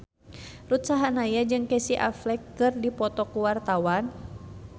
Ruth Sahanaya jeung Casey Affleck keur dipoto ku wartawan